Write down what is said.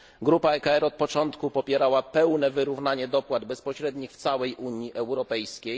Grupa ECR od początku popierała pełne wyrównanie dopłat bezpośrednich w całej Unii Europejskiej.